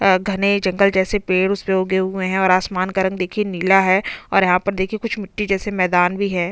अ घने जंगल जैसे पेड़ उसपे उगे हुए है और आसमान का रंग देखिये नीला है और यहाँ पर देखिये कुछ मिट्टी जैसे मैदान भी है।